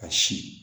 Ka si